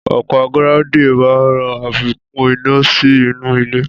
Ọ̀pá gíráúndìn máa ràn àfikún iná sí inú ilẹ̀